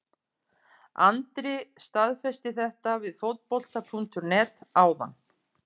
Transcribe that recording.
Andri staðfesti þetta við Fótbolta.net áðan.